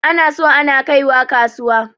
Ana so ana kaiwa kasuwa.